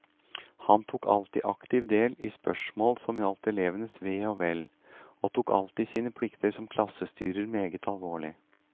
Han tok alltid aktivt del i spørsmål som gjaldt elevenes ve og vel, og tok alltid sine plikter som klassestyrer meget alvorlig.